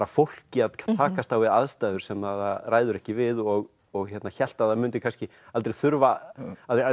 fólki að takast á við aðstæður sem það ræður ekki við og og hélt að það mundi kannski aldrei þurfa að